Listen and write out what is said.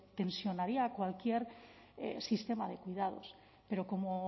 tensionaría cualquier sistema de cuidados pero como